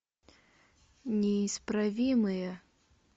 неисправимые